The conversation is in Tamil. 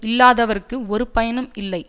இல்லாதவர்க்கு ஒரு பயனும் இல்லை